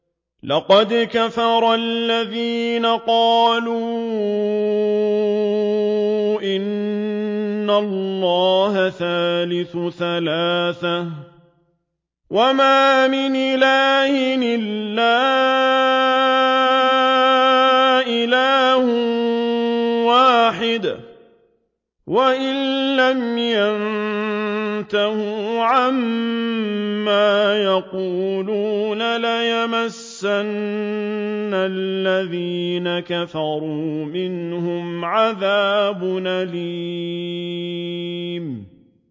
لَّقَدْ كَفَرَ الَّذِينَ قَالُوا إِنَّ اللَّهَ ثَالِثُ ثَلَاثَةٍ ۘ وَمَا مِنْ إِلَٰهٍ إِلَّا إِلَٰهٌ وَاحِدٌ ۚ وَإِن لَّمْ يَنتَهُوا عَمَّا يَقُولُونَ لَيَمَسَّنَّ الَّذِينَ كَفَرُوا مِنْهُمْ عَذَابٌ أَلِيمٌ